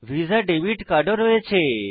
visa debit card ও রয়েছে